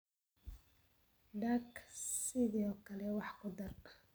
Duck sidoo kale waa khudaar